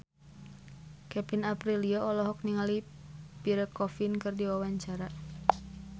Kevin Aprilio olohok ningali Pierre Coffin keur diwawancara